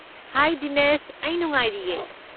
ꯍꯥꯏ ꯗꯤꯅꯦꯁ! ꯑꯩ ꯅꯨꯡꯉꯥꯏꯔꯤꯌꯦ꯫